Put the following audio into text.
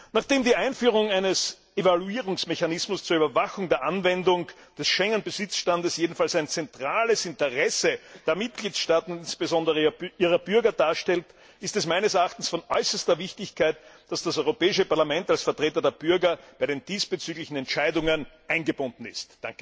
Nachdem die Einführung eines Evaluierungsmechanismus zur Überwachung der Anwendung des Schengen Besitzstands jedenfalls ein zentrales Interesse der Mitgliedstaaten und insbesondere ihrer Bürger darstellt, ist es meines Erachtens sehr wichtig, dass das Europäische Parlament als Vertreter der Bürger in die diesbezüglichen Entscheidungen eingebunden ist.